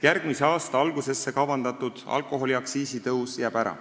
Järgmise aasta algusesse kavandatud alkoholiaktsiisi tõus jääb ära.